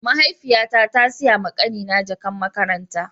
Mahaifiya ta, ta Siya ma kani na jakan makaranta.